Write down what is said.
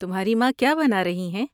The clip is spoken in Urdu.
تمہاری ماں کیا بنا رہی ہیں؟